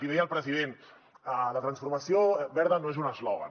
i deia el president la transformació verda no és un eslògan